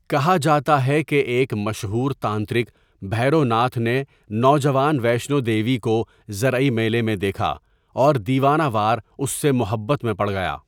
کہا جاتا ہے کہ ایک مشہور تانترک بھیروناتھ نے نوجوان ویشنو دیوی کو زرعی میلے میں دیکھا اور دیوانہ وار اس سے محبت میں پڑ گیا۔